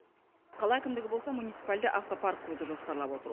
қала әкімдігі болса муниципальді автопарк құруды жоспарлап отыр